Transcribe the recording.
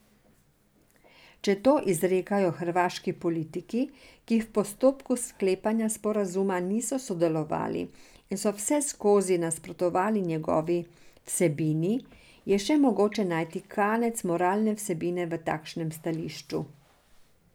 Če to izrekajo hrvaški politiki, ki v postopku sklepanja sporazuma niso sodelovali in ki so vseskozi nasprotovali njegovi vsebini, je še mogoče najti kanec moralne vsebine v takšnem stališču.